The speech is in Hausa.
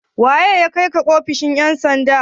Wa ya kai ki ofishin ƴan sanda?